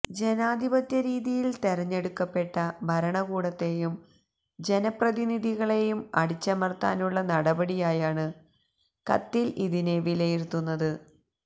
ജനാധിപത്യ രീതിയിൽ തെരഞ്ഞെടുക്കപ്പെട്ട ഭരണകൂടത്തേയും ജനപ്രതിനിധികളേയും അടിച്ചമർത്താനുള്ള നടപടിയായാണ് കത്തിൽ ഇതിനെ വിലയിരുത്തുന്നത്